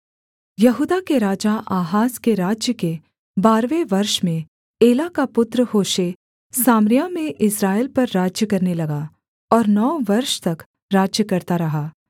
यहूदा के राजा आहाज के राज्य के बारहवें वर्ष में एला का पुत्र होशे सामरिया में इस्राएल पर राज्य करने लगा और नौ वर्ष तक राज्य करता रहा